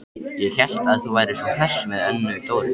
Ég hélt að þú værir svo hress með Önnu Dóru.